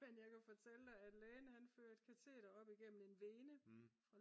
men jeg kan fortælle dig at lægen han førte kateter op igennem en vene